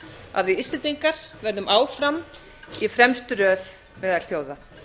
að við íslendingar verðum áfram í fremstu röð meðal þjóða